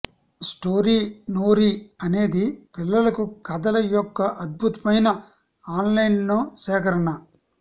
story నోరీ అనేది పిల్లలకు కథల యొక్క అద్భుతమైన ఆన్లైన్ సేకరణ